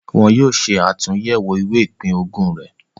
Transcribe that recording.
Wọn yóò ṣe àtúyẹ̀wò ìwé ìpín-ogún rẹ̀.